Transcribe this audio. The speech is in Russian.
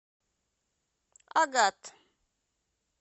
агат